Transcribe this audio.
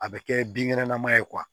A bɛ kɛ binkɛnɛ nama ye